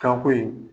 Kanko yen